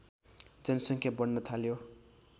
जनसङ्ख्या बढ्न थाल्यो